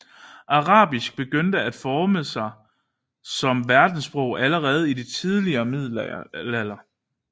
Arabisk begyndte at forme sig som verdenssprog allerede i den tidlige middelalder